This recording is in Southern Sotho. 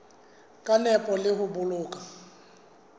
ka nepo le ho boloka